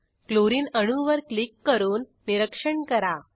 chlorine अणूवर click करून निरीक्षण करा